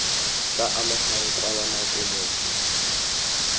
tla amegang kwala nako motho